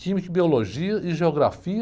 Química, biologia e geografia.